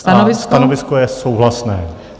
Stanovisko je souhlasné.